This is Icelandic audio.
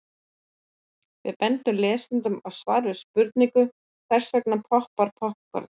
Við bendum lesendum á svar við spurningunni Hvers vegna poppar poppkorn?.